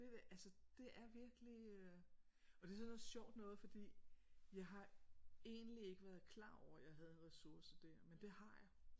Det der altså det er virkelig øh og det er sådan noget sjovt noget fordi jeg har egentlig ikke været klar over at jeg havde en ressource der men det har jeg